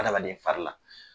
Adamaden fari la